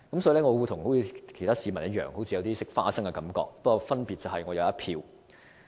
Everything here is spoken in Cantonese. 所以，我像其他市民一樣，有種"食花生"的感覺，但分別是我有一票。